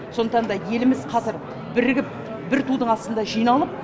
сондықтан да еліміз қазір бірігіп бір тудың астында жиналып